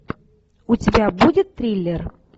у тебя будет триллер